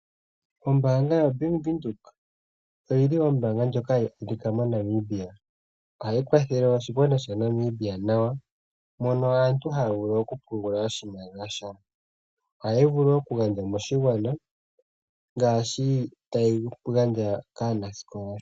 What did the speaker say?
Ombaanga yaVenduka oyili ombaanga ndjoka ya tseyika moNamibia hayi kwathele oshigwana shaNamibia nawa mono aantu haya vulu okupungula oshimaliwa shawo. Ohayi vulu okugandja moshigwana ngaashi tayi gandja kaanasikola.